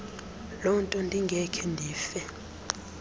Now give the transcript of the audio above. lonto ndingakhe ndife